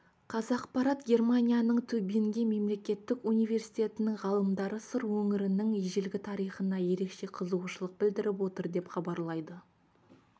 қазақпарат германияның тюбинген мемлекеттік университетінің ғалымдары сыр өңірінің ежелгі тарихына ерекше қызығушылық білдіріп отыр деп хабарлайды